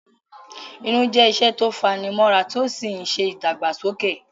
Irun jẹ́ iṣẹ́ tí ó fani mọ́ra tí ó sì ń ṣe ìdàgbàsókè